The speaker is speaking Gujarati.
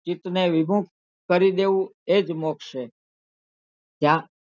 ચિતને વિભુક્ત કરી દેવું એજ મોક્ષ છે ત્યાં,